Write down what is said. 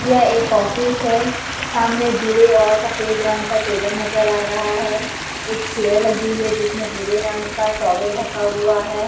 यह एक ऑफिस है सामने भूरे और सफेद रंग का टेबल नजर आ रहा है एक चेयर लगी हुई है जिसमें भूरे रंग का टॉवल ढका हुआ है।